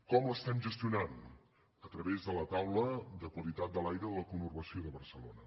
com l’estem gestionant a través de la taula de qualitat de l’aire de la conurbació de barcelona